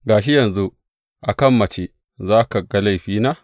Ga shi yanzu a kan mace za ka ga laifina?